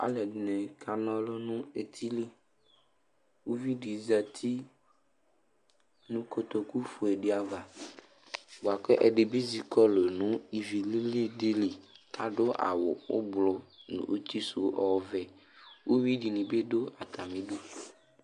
Alʋɛdɩnɩ kana ɔlʋ nʋ eti li Uvi dɩ zati nʋ kotokufue dɩ ava bʋa kʋ ɛdɩ bɩ zi kɔlʋ nʋ ivi li dɩ li, adʋ awʋ ʋblʋ, uti sʋ ɔvɛ, uyui dɩnɩ dʋ atamɩdu